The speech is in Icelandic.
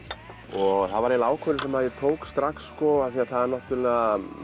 og það var eiginlega ákvörðun sem ég tók strax því að